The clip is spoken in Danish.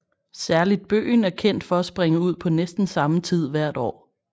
Særligt bøgen er kendt for at springe ud på næsten samme tid hvert år